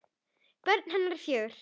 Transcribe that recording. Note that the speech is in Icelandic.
Börn hennar eru fjögur.